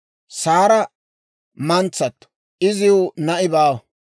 Saara mantsato; iziw na'i baawa.